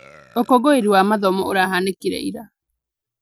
Ũkũngũĩri wa mathomo ũrahanĩkire ira